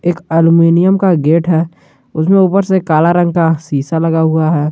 Aluminium का gate है उसमें उपर से काला रंग शीशा लगा हुआ है।